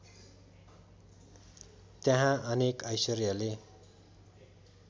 त्यहाँ अनेक ऐश्वर्यले